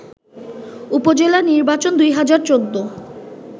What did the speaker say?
উপজেলা নির্বাচন ২০১৪